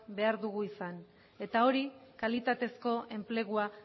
behar dugu izan eta hori kalitateko enplegua